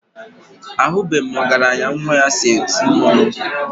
Ahụbeghị m ọgaranya nwa ya so eti mmọnwụ.